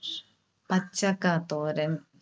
പച്ചക്കാ തോരൻ.